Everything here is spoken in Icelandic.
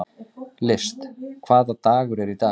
List, hvaða dagur er í dag?